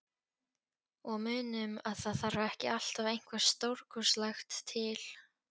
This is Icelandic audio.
Og munum að það þarf ekki alltaf eitthvað stórkostlegt til.